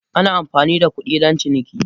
Ana amfani da kuɗi don ciniki